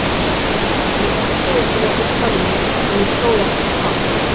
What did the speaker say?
Ég varð að viðurkenna fyrir sjálfum mér að mér stóð ekki á sama.